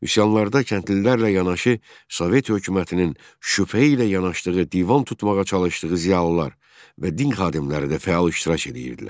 Üsyanlarda kəndlilərlə yanaşı, Sovet hökumətinin şübhə ilə yanaşdığı, divan tutmağa çalışdığı ziyalılar və din xadimləri də fəal iştirak edirdilər.